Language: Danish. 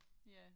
Ja